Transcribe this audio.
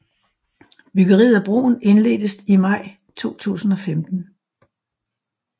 Byggeriet af broen indledtes i maj 2015